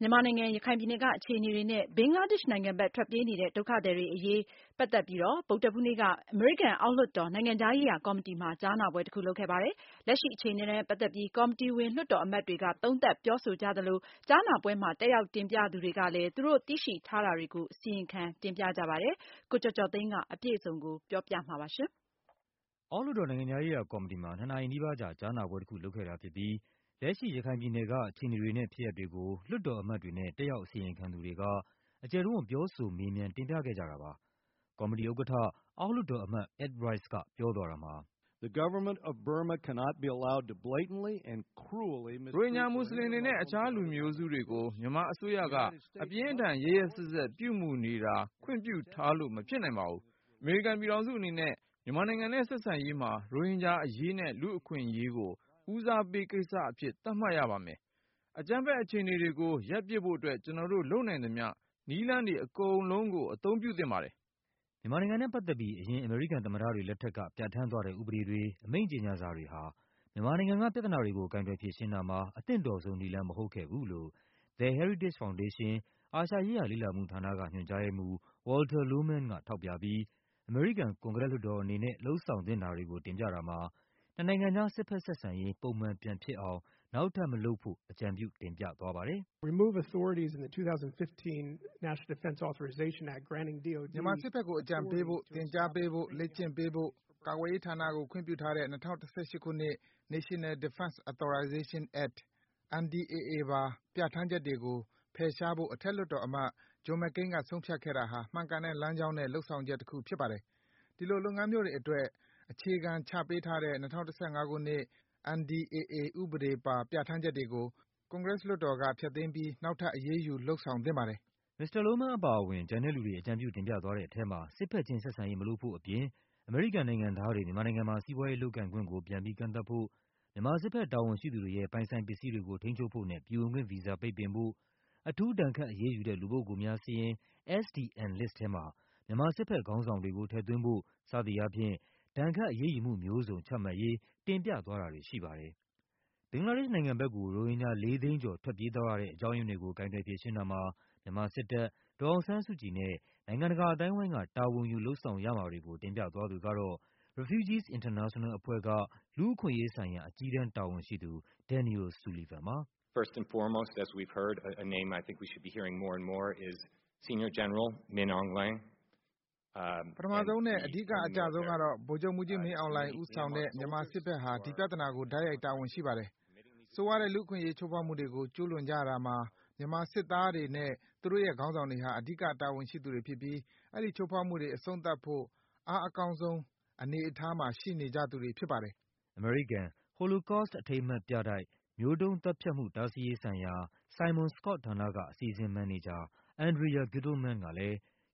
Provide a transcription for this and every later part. မြန်မာနိုင်ငံ၊ ရခိုင်ပြည်နယ်ကအခြေအနေတွေနဲ့ ဘင်္ဂလားဒေ့ရှ်နိုင်ငံဘက် ထွက်ပြေးနေတဲ့ ဒုက္ခသည်တွေအရေးနဲ့ ပတ်သက်ပြီး ဗုဒ္ဓဟူးနေ့က အမေရိကန်အောက်လွှတ်တော်၊ နိုင်ငံခြားရေးရာကော်မတီမှာ ကြားနာပွဲတခုလုပ်ခဲ့ပါတယ်။ လက်ရှိ အခြေအနေနဲ့ပတ်သက်ပြီး ကော်မတီဝင် လွှတ်တော်အမတ်တွေက သုံးသပ်ပြောဆိုကြသလို ကြားနာပွဲမှာ တက်ရောက် တင်ပြသူတွေကလဲ သူတို့သိရှိထားတာတွေကို အစီရင်ခံ တင်ပြကြပါတယ်။ အပြည့်အစုံကို ကိုကျော်ကျော်သိန်းက ပြောပြပါမယ်။ အောက်လွှတ်တော် နိုင်ငံခြားရေးရာကော်မတီမှာ ၂ နာရီနီးပါးကြာ ကြားနာပွဲတခုလုပ်ခဲ့တာ ဖြစ်ပြီး လက်ရှိ ရခိုင်ပြည်နယ်က အခြေအနေတွေနဲ့ ဖြစ်ရပ်တွေကို လွှတ်တော်အမတ်တွေနဲ့ တက်ရောက်အစီရင်ခံသူတွေက အကျယ်တဝံ့ ပြောဆို မေးမြန်း တင်ပြခဲ့ကြတာပါ။ ကော်မတီဥက္ကဌ အောက်လွှတ်တော်အမတ် Ed Royce က ပြောသွားတာမှာ - “ရိုဟင်ဂျာမူစလင်တွေနဲ့ တခြား လူနည်းစုတွေကို မြန်မာအစိုးရက အပြင်းအထန် ရက်ရက် စက်စက် ပြုမူနေတာ ခွင့်ပြုထားလို့မဖြစ်နိုင်ပါဘူး။ အမေရိကန်ပြည်ထောင်စုအနေနဲ့ မြန်မ ာနိုင်ငံနဲ့ ဆက်ဆံရေးမှာ ရိုဟင်ဂျာအရေးနဲ့ လူ့အခွင့်အရေးကို ဦးစားပေးကိစ္စတွေအဖြစ် သတ်မှတ်ရပါမယ်။ အကြမ်းဖက်အခြေအနေတွေကို ရပ်ပစ်ဖို့အတွက် ကျနော်တို့ လုပ်နိုင်သမျှ နည်းလမ်းတွေအကုန်လုံးကို အသုံးပြုသင့်ပါတယ်။” မြန်မာနိုင်ငံနဲ့ပတ်သက်ပြီး အရင် အမေရိကန်သမ္မတတွေလက်ထက်က ပြဌာန်းသွားတဲ့ ဥပဒေ တွေ၊ အမိန့်ကြေညာစာတွေဟာ မြန်မာနိုင်ငံကပြဿနာတွေကို ကိုင်တွယ်ဖြေရှင်းတာမှာ အသင့်တော်ဆုံးနည်းလမ်း မဟုတ်ခဲ့ဘူးလို့ The Heritage Foundation၊ အာရှရေးရာ လေ့လာမှုဌာနက ညွှန်ကြားရေးမှူး Walter Lohman က ထောက်ပြပြီး အမေရိကန်ကွန်ဂရက် လွှတ်တော်အနေနဲ့ လုပ်ဆောင်သင့်တာတွေကိုတင်ပြတာမှာ နှစ်နိုင်ငံကြား စစ်ဘက်ဆက်ဆံ ရေး ပုံမှန်ပြန်ဖြစ်အောင် နောက်ထပ်မလုပ်ဖို့ အကြံပြု တင်ပြသွားပါတယ်။ “မြန်မာစစ်ဘက်ကို အကြံပေးဖို့၊ သင်ကြားပေးဖို့၊ လေ့ကျင့်ပေးဖို့ ကာကွယ်ရေးဌာနကို ခွင့်ပြု ထားတဲ့ ၂၀၁၈ ခုနှစ်၊ National Defense Authorization Act ပါ ပြဌာန်းချက်တွေ ကိုဖယ်ရှားဖို့ အထက်လွှတ်တော်အမတ် ဂျွန် မက်ကိန်းက ဆုံးဖြတ်ခဲ့တာဟာ မှန်ကန်တဲ့ လမ်းကြောင်းနဲ့ လုပ်ဆောင်ချက်တခုဖြစ်ပါတယ်။ ဒီလိုလုပ်ငန်းမျိုးတွေအတွက် အခြေခံချပေး ထားတဲ့ ၂၀၁၅ ခုနှစ် NDAA ဥပဒေပါ ပြဌာန်းချက်တွေကို ကွန်ဂရက်လွှတ်တော်က ဖျက်သိမ်း ပြီး နောက်ထပ် အရေးယူ လုပ်ဆောင်သင့်ပါတယ်။” မစ္စတာ Lohman အပါအဝင် ကျန်တဲ့လူတွေ အကြံပြုတင်ပြသွားတဲ့ထဲမှာ စစ်ဘက်ချင်း ဆက်ဆံရေး မလုပ်ဖို့အပြင် အမေရိကန်နိုင်ငံသားတွေ မြန်မာနိုင်ငံမှာ စီးပွားရေးလုပ်ကိုင်ခွင့်ကို ပြန်ပြီးကန့်သတ်ဖို့၊ မြန်မာစစ်ဘက် တာဝန်ရှိသူတွေရဲ့ ပိုင်ဆိုင်ပစ္စည်းတွေကို ထိန်းချုပ်ဖို့နဲ့ ပြည်ဝင်ခွင့်ဗီဇာပိတ်ပင်ဖို့၊ အထူး ဒဏ်ခတ်အရေးယူတဲ့ လူူပုဂ္ဂိုလ်များစာရင်း SDN ထဲမှာ မြန်မာ စစ်ဘက် ခေါင်းဆောင်တွေကို ထည့်သွင်းဖို့ စသည်အားဖြင့် ဒဏ်ခတ် အရေးယူမှုမျိုးစုံ ချမှတ်ဖို့ တင်ပြသွားတာတွေရှိပါတယ်။ ဘင်္ဂလားဒေ့ရှ်နိုင်ငံဘက်ကို ရိုဟင်ဂျာ ၄၀၀,၀၀၀ သိန်းကျော် ထွက်ပြေးသွားရတဲ့ အကြောင်း ရင်းတွေကို ကိုင်တွယ်ဖြေရှင်းတာမှာ မြန်မာစစ်တပ်၊ ဒေါ်အောင်ဆန်းစုကြည်နဲ့ နိုင်ငံတကာ အသိုင်းအဝိုင်းက တာဝန်ယူ လုပ်ဆောင်ရမှာတွေကို တင်ပြသွားသူကတော့ Refugees International အဖွဲ့က လူ့အခွင့်အရေးဆိုင်ရာ အကြီးတန်းတာဝန်ရှိသူ Daniel Sullivan ပါ။ “ပထမဆုံးနဲ့ အဓိကအကျဆုံးကတော့ ဗိုလ်ချုပ်မှူးကြီးမင်းအောင်လှိုင် ဦးဆောင်တဲ့ မြန်မာ စစ်ဘက်ဟာ ဒီပြဿနာမှာ တိုက်ရိုက် တာဝန်ရှိပါတယ။် ဆိုးရွားတဲ့ လူ့အခွင့်အရေး ချိုးဖောက်မှုတွေကို ကျူးလွန်ကြတာမှာ မြန်မာစစ်သားတွေနဲ့ သူတို့ရဲ့ခေါင်းဆောင်တွေဟာ အဓိကတာဝန်ရှိသူတွေဖြစ်ပြီး အဲဒီချိုးဖောက်မှုတွေ အဆုံးသတ်ဖို့ အားအကောင်းဆုံးအနေ အထားမှာ ရှိနေကြသူတွေဖြစ်ပါတယ်။” အမေရိကန်၊ Holocaust အထိမ်းအမှတ်ပြတိုက်၊ မျိုးတုန်းသတ်ဖြတ်မှု တားဆီးရေးဆိုင်ရာ Simon-Skjodt ဌာနက အစီအစဉ် မန်နေဂျာ Andrea Gittleman ကလဲ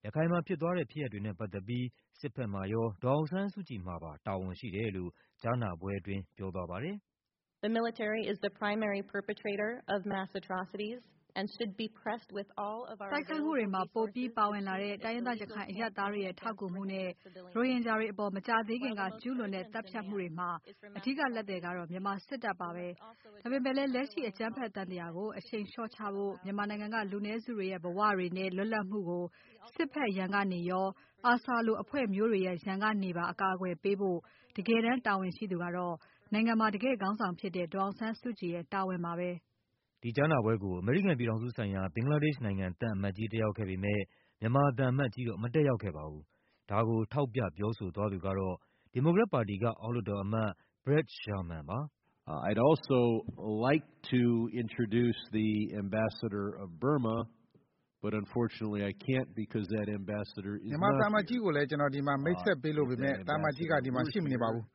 ရခိုင်မှာဖြစ်သွားတဲ့ ဖြစ်ရပ်တွေနဲ့ပတ်သက်ပြီး စစ်ဘက်မှာရော၊ ဒေါ်အောင်ဆန်းစုကြည်မှာပါ တာဝန်ရှိတယ်လို့ ကြားနာပွဲမှာ ပြောသွားပါတယ်။ “တိုက်ခိုက်မှုတွေမှာပိုပြီးပါဝင်လာတဲ့ တိုင်းရင်းသား ရခိုင်အရပ်သားတွေရဲ့ ထောက်ကူမှုနဲ့ ရိုဟင်ဂျာတွေအပေါ် မကြာသေးခင်ကကျူးလွန်တဲ့ သတ်ဖြတ်မှုတွေမှာ အဓိက လက်သည်က တော့ မြန်မာစစ်တပ်ပါပဲ။ ဒါပေမဲ့လဲ လက်ရှိ အကြမ်းဖက်သံသရာကို အရှိန်လျှော့ချဖို့၊ မြန်မာ နိုင်ငံက လူနည်းစုတွေရဲ့ ဘဝတွေနဲ့ လွတ်လပ်မှုကို စစ်ဘက်ရန်ကနေရော ARSA လို အဖွဲ့မျိုး တွေရဲ့ရန်ကနေပါ အကာအကွယ်ပေးဖို့ တကယ်တမ်းတာဝန်ရှိသူကတော့ နိုင်ငံမှာ တကယ့် ခေါင်းဆောင်ဖြစ်တဲ့ ဒေါ်အောင်ဆန်းစုကြည်ရဲ့ တာဝန်ပါပဲ။” ဒီကြားနာပွဲကို အမေရိကန်ပြည်ထောင်စုဆိုင်ရာ ဘင်္ဂလားဒေ့ရှ်သံအမတ်ကြီး တက်ရောက်ခဲ့ပေ မဲ့ မြန်မာသံအမတ်ကြီးတော့ မတက်ရောက်ခဲ့ပါဘူး။ ဒါကို ထောက်ပြ ပြောဆိုသွားသူကတော့ ဒီမိုကရက်ပါတီက အောက်လွှတ်တော်အမတ် Brad Sherman ပါ။ “မြန်မာသံအမတ်ကြီးကိုလဲ ကျနော် ဒီမှာ မိတ်ဆက်ပေးလိုပေမဲ့ သံအမတ်ကြီးက ဒီမှာ ရှိမနေ ပါဘူး။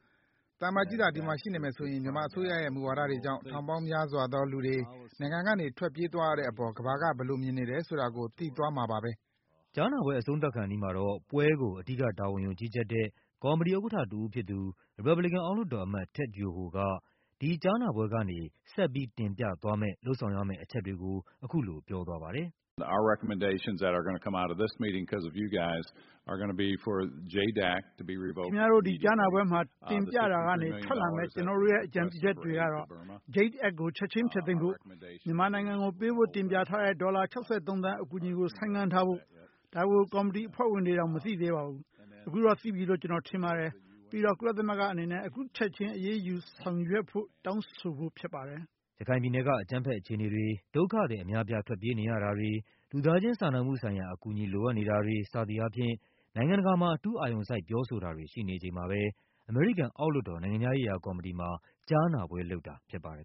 သံအမတ်ကြီးသာ ဒီမှာရှိနေမယ်ဆိုရင် မြန်မာအစိုးရရဲ့မူဝါဒတွေကြောင့် ထောင်ပေါင်း များစွာသောလူတွေ နိုင်ငံကနေ ထွက်ပြေးသွားရတဲ့အပေါ် ကမ္ဘာက ဘယ်လိုမြင်နေတယ် ဆိုတာကို သိသွားမှာပါပဲ။” ကြားနာပွဲ အဆုံးသတ်ခါနီးမှာတော့ ပွဲကို အဓိကတာဝန်ယူူကြီးကြပ်တဲ့ ကော်မတီဥက္ကဌတဦး ဖြစ်သူ၊ ရီပတ်ဘလီကန် အောက်လွှတ်တော်အမတ် Ted Yoho က ဒီကြားနာပွဲကနေ ဆက်ပြီး တင်ပြသွားမယ့် လုပ်ဆောင်ရမယ့်အချက်တွေကို အခုလို ပြောသွားပါတယ်။ “ခင်ဗျားတို့ ဒီကြားနာပွဲမှာ တင်ပြတာကနေထွက်လာမယ့် ကျနော်တို့ရဲ့ အကြံပြုချက်တွေက တော့ Jade Act ကို ချက်ခြင်း ဖျက်သိမ်းဖို့၊ မြန်မာနိုင်ငံကို အကူအညီပေးဖို့ တင်ပြထားတဲ့ ဒေါ်လာ ၆၃ သန်း အကူအညီကို ဆိုင်းငံ့ထားဖို့၊ ဒါကို ကော်မတီအဖွဲ့ဝင်တွေတောင် မသိသေးပါ ဘူး၊ အခုတော့သိပြီလို့ ကျနော်ထင်ပါတယ်။ ပြီးတော့ ကုလသမဂ္ဂအနေနဲ့ အခုချက်ခြင်း အရေးယူလုပ်ဆောင်ရေး တောင်းဆိုဖို့ဖြစ်ပါတယ်။” ရခိုင်ပြည်နယ်က အကြမ်းဖက်အခြေအနေတွေ၊ ဒုက္ခသည်အများအပြား ထွက်ပြေးနေရတာ တွေ၊ လူသားချင်းစာနာမှုဆိုင်ရာ အကူအညီ လိုအပ်နေတာတွေ စသည်အားဖြင့် နိုင်ငံတကာမှာ အထူးအာရုံစိုက် ပြောဆိုတာတွေရှိနေချိန်မှာပဲ အမေရိကန် အောက်လွှတ်တော် နိုင်ငံခြားရေးရာ ကော်မတီမှာ ကြားနာပွဲလုပ်တာဖြစ်ပါတယ်